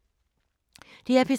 DR P3